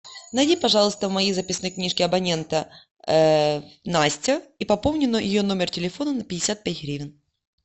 найди пожалуйста в моей записной книжке абонента настя и пополни ее номер телефона на пятьдесят пять гривен